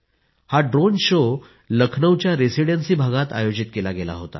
हा drone show लखनौच्या Residency भागात आयोजित केला गेला होता